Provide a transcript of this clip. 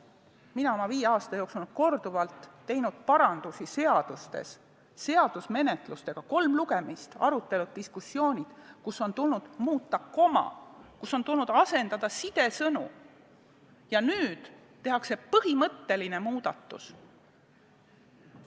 Mina olen viie aasta jooksul korduvalt teinud seaduste parandusi seadusemenetlustega: kolm lugemist, arutelud, diskussioonid, kus on tulnud muuta koma, kus on tulnud asendada sidesõnu, aga nüüd tehakse põhimõtteline muudatus.